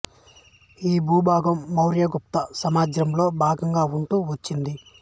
ఈ భూభాగం మౌర్య గుప్త సామ్రాజ్యాలలో భాగంగా ఉంటూ వచ్చింది